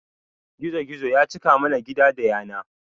Gizo gizo ya cika mana gida da yana